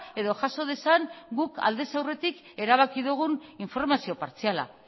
edo jaso dezan guk aldez aurretik erabaki dugun informazio partziala